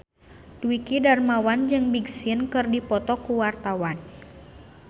Dwiki Darmawan jeung Big Sean keur dipoto ku wartawan